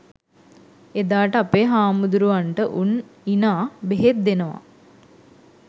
එදාට අපේ හාමුදුරුවරුන්ට උන් ඉනා බෙහෙත් දෙනවා